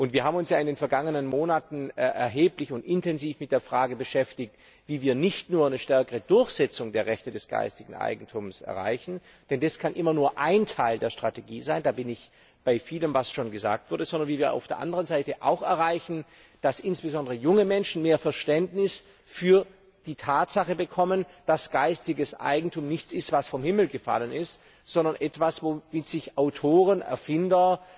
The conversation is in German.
Wir haben uns in den vergangenen Monaten intensiv mit der Frage beschäftigt, wie wir nicht nur eine stärkere Durchsetzung der Rechte des geistigen Eigentums erreichen denn das kann immer nur ein Teil der Strategie sein, da stimme ich vielem zu, was schon gesagt wurde sondern wie wir auch erreichen, dass insbesondere junge Menschen mehr Verständnis für die Tatsache bekommen, dass geistiges Eigentum nichts ist, was vom Himmel gefallen ist, sondern etwas, womit sich Autoren, Erfinder,